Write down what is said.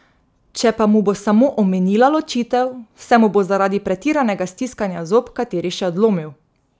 Če pa mu bo samo omenila ločitev, se mu bo zaradi pretiranega stiskanja zob kateri še odlomil.